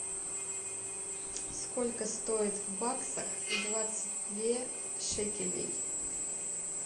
сколько стоит в баксах двадцать две шекелей